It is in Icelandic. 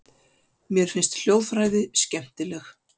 Mér finnst hljóðfræði skemmtileg.